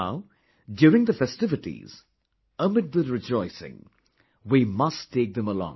Now, during the festivities, amid the rejoicing, we must take them along